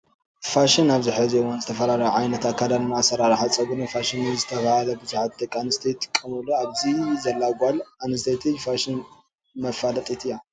ፋሽን ኣብዚ ሕዚ እዋን ዝተፈላለዩ ዓይነታት ኣከዳድናነ ኣሰራረሓ ፀጉሪን ፋሽን እንዳተባሃለ ብዙሓት ደቂ ኣንስትዮ ይጥቀመሉ ኣብዚ ዘላ ጓል ኣነስተይቲ ፋሽን መፋለጢት እያ።